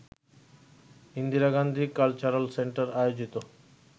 Indira Gandhi cultural centre আয়োজিত